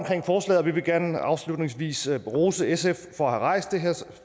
forslaget vi vil gerne afslutningsvis rose sf for at have rejst det her